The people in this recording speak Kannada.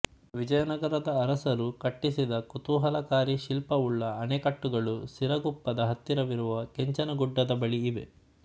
ವಿಜಯನಗರದ ಅರಸರು ಕಟ್ಟಿಸಿದ ಕುತೂಹಲಕಾರಿ ಶಿಲ್ಪವುಳ್ಳ ಅಣೆಕಟ್ಟುಗಳು ಸಿರಗುಪ್ಪದ ಹತ್ತಿರವಿರುವ ಕೆಂಚನಗುಡ್ಡದ ಬಳಿ ಇವೆ